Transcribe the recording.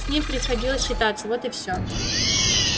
с ним приходилось считаться вот и всё